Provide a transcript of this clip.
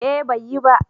eh bai yi ba